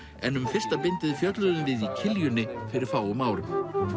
en um fyrsta bindið fjölluðum við í Kiljunni fyrir fáum árum